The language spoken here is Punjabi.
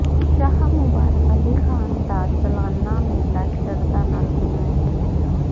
ਸ਼ਾਹ ਮੁਬਾਰਕ ਅਲੀ ਖਾਨ ਦਾ ਸਾਲਾਨਾ ਮੇਲਾ ਸ਼ਰਧਾ ਨਾਲ ਮਨਾਇਆ